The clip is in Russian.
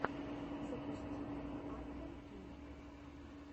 запусти артем кей